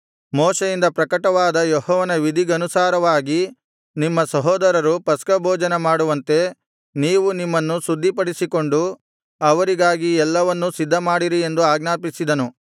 ಮೋಶೆಯಿಂದ ಪ್ರಕಟವಾದ ಯೆಹೋವನ ವಿಧಿಗನುಸಾರವಾಗಿ ನಿಮ್ಮ ಸಹೋದರರು ಪಸ್ಕಭೋಜನ ಮಾಡುವಂತೆ ನೀವು ನಿಮ್ಮನ್ನು ಶುದ್ಧಿಪಡಿಸಿಕೊಂಡು ಅವರಿಗಾಗಿ ಎಲ್ಲವನ್ನೂ ಸಿದ್ಧಮಾಡಿರಿ ಎಂದು ಆಜ್ಞಾಪಿಸಿದನು